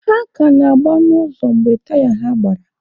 Ha ka na-agba n'ụzọ mgbe taya ha gbara.